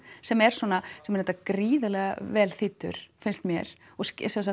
sem er sem er gríðarlega vel þýddur finnst mér og